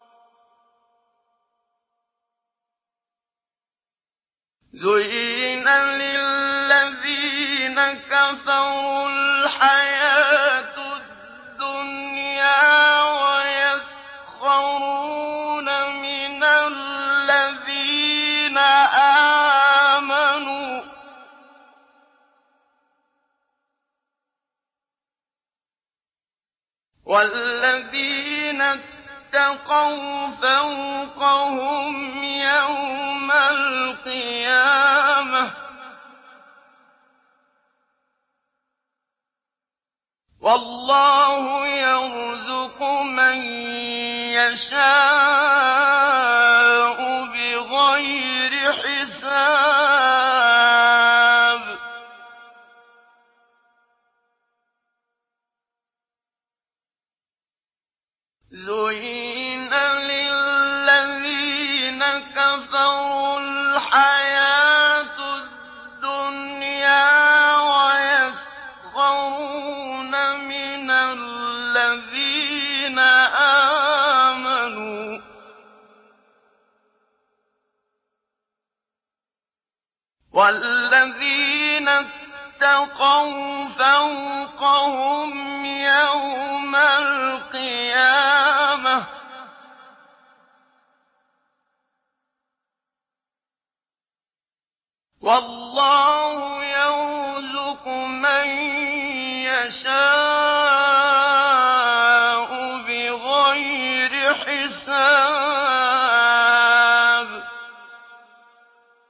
زُيِّنَ لِلَّذِينَ كَفَرُوا الْحَيَاةُ الدُّنْيَا وَيَسْخَرُونَ مِنَ الَّذِينَ آمَنُوا ۘ وَالَّذِينَ اتَّقَوْا فَوْقَهُمْ يَوْمَ الْقِيَامَةِ ۗ وَاللَّهُ يَرْزُقُ مَن يَشَاءُ بِغَيْرِ حِسَابٍ